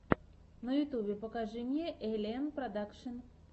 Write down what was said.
на ютюбе покажи мне эллиэнн продакшн